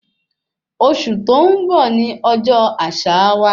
Oṣù tó n bọ ní ọjọ àṣà wa